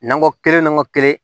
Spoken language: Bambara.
Nankɔ kelen n ko kelen